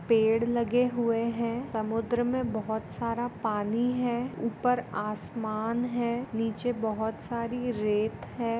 Paid लगे हुए है समुद्र मै बहुत सारा पानी है उपर आसमान है नीचे बहुत सारी रेत है।